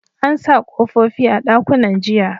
An sa kofofi a dakunnan jiya